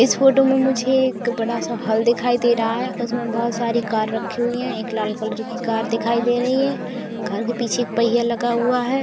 इस फोटो में मुझे एक बड़ा सा हॉल दिखाई दे रहा है। उसमे बहोत सारी कार रखी हुई है। एक लाल कलर की कार दिखाई दे रही है। कार के पीछे एक पहिया लगा हुआ है।